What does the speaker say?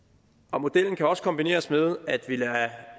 modellen kan også kombineres med at vi lader